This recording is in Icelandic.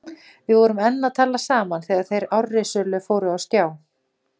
Við vorum enn að tala saman þegar þeir árrisulu fóru á stjá.